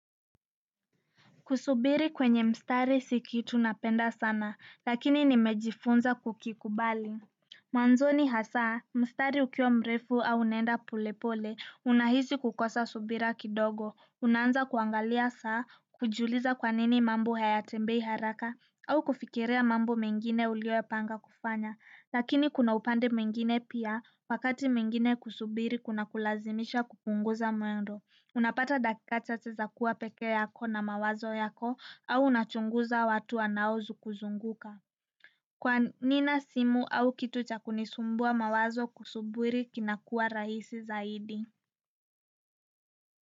Kusubiri kwenye mstari si kitu napenda sana, lakini nimejifunza kukikubali. Mwanzoni hasaa mstari ukiwa mrefu au unaenda polepole unahisi kukosa subira kidogo unaanaza kuangalia saa kujiuliza kwa nini mambo hayatembei haraka au kufikiria mambo mengine ulioyapanga kufanya lakini kuna upande mwingine pia, wakati mwingine kusubiri kuna kulazimisha kupunguza muendo. Unapata dakika chache za kuwa peke yako na mawazo yako au unachunguza watu wanaokuzunguka kwa nina simu au kitu cha kunisumbua mawazo kusubiri kinakua raisi zaidi?